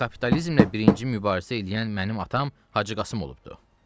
Çünki kapitalizmlə birinci mübarizə eləyən mənim atam Hacı Qasım olubdur.